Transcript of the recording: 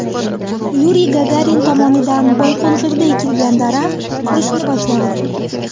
Yuriy Gagarin tomonidan Boyqo‘ng‘irda ekilgan daraxt qurishni boshladi.